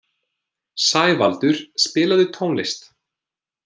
Sævaldur, spilaðu tónlist.